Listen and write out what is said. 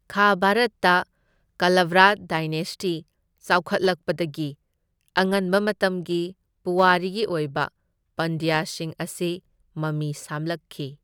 ꯈꯥ ꯚꯥꯔꯠꯇ ꯀꯥꯂꯥꯚ꯭ꯔꯥ ꯗꯥꯏꯅꯦꯁꯇꯤ ꯆꯥꯎꯈꯠꯂꯛꯄꯗꯒꯤ ꯑꯉꯟꯕ ꯃꯇꯝꯒꯤ ꯄꯨꯋꯥꯔꯤꯒꯤ ꯑꯣꯏꯕ ꯄꯥꯟꯗ꯭ꯌꯥꯁꯤꯡ ꯑꯁꯤ ꯃꯃꯤ ꯁꯥꯝꯂꯛꯈꯤ꯫